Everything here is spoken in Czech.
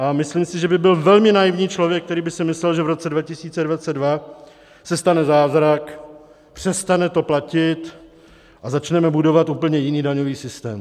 A myslím si, že by byl velmi naivní člověk, který by si myslel, že v roce 2022 se stane zázrak, přestane to platit a začneme budovat úplně jiný daňový systém.